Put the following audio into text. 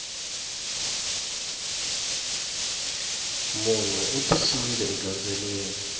munhu u tisiwile egandzweleni